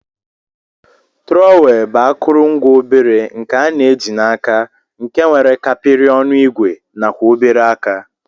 Trọwel bu akọrọngwa obere nke ana ji na aka nke nwere kapiri ọnụ igwe nakwa obere aka.